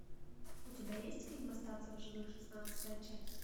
у тебя есть фильм остаться в живых шестнадцатая часть